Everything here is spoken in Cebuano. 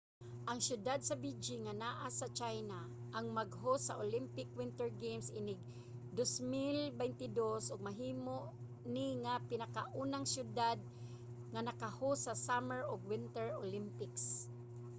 ang siyudad sa beijing nga naa sa china ang mag-host sa olympic winter games inig 2022 ug mahimo ni nga pinakaunang siyudad nga nakahost sa summer ug winter olympics